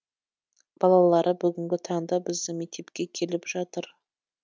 балалары бүгінгі таңда біздің мектепке келіп жатыр